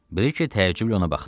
Briki təəccüblə ona baxdı.